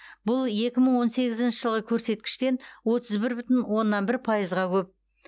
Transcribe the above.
бұл екі мың он сегізінші жылғы көрсеткіштен отыз бір бүтін оннан бір пайызға көп